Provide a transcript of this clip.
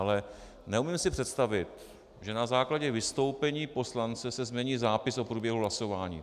Ale neumím si představit, že na základě vystoupení poslance se změní zápis o průběhu hlasování.